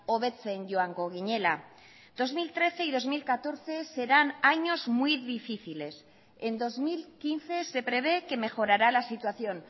hobetzen joango ginela dos mil trece y dos mil catorce serán años muy difíciles en dos mil quince se prevé que mejorará la situación